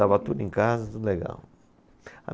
Estava tudo em casa, tudo legal.